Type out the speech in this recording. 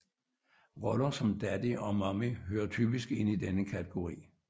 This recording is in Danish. Roller som Daddy og Mommy hører typisk ind i denne kategori